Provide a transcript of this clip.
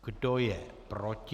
Kdo je proti?